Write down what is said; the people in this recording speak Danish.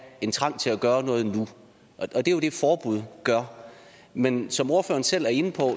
en trang til at gøre noget nu og det er jo det forbud gør men som ordføreren selv er inde på